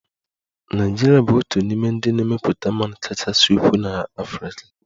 Nigeria bụ otu n'ime ndị na-emepụta mmanụ kachasị ukwuu n'Africa